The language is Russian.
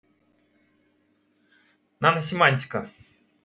наносемантика